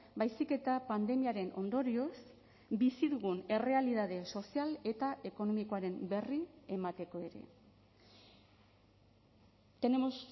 baizik eta pandemiaren ondorioz bizi dugun errealitate sozial eta ekonomikoaren berri emateko ere tenemos